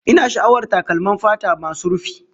Ina sha'awar takalman fata masu rufi